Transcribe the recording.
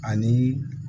Ani